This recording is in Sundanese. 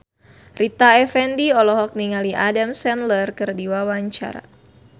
Rita Effendy olohok ningali Adam Sandler keur diwawancara